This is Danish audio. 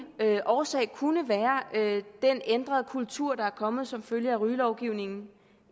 årsag kunne være den ændrede kultur der er kommet som følge af rygelovgivningen